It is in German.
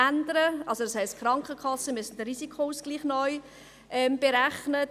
Das heisst, die Krankenkassen müssen den Risikoausgleich neu berechnen.